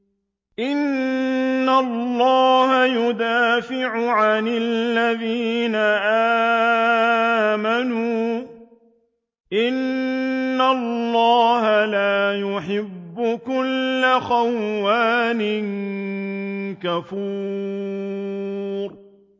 ۞ إِنَّ اللَّهَ يُدَافِعُ عَنِ الَّذِينَ آمَنُوا ۗ إِنَّ اللَّهَ لَا يُحِبُّ كُلَّ خَوَّانٍ كَفُورٍ